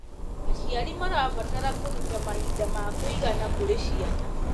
Aciari marabatara kũruta mahinda ma kũigana kũrĩ ciana.